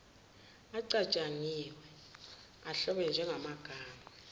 acatshangiwe ahlobene njengamagama